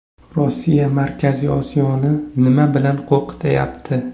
Rossiya Markaziy Osiyoni nima bilan qo‘rqityapti?